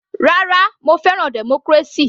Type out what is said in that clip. Rárá, mo fẹ́ràn democracy.